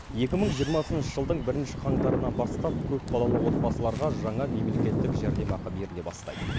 екі мың жиырмасыншы жылдың бірінші қаңтарынан бастап көп балалы отбасыларға жаңа мемлекеттік жәрдемақы беріле бастайды